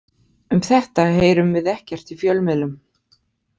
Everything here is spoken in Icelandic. Um þetta heyrum við ekkert í fjölmiðlum.